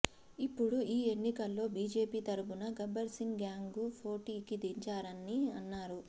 ఇప్పుడు ఈ ఎన్నికల్లో బీజేపీ తరపున గబ్బర్సింగ్ గ్యాంగ్ను పోటీకి దించారని అన్నారు